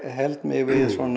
held mig